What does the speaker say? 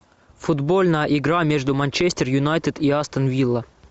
футбольная игра между манчестер юнайтед и астон вилла